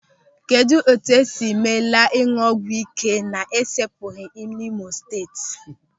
Kedụ etu esiri meela ịñụ ọgwụ ị́ké na-esepụghị n'Imo Steeti?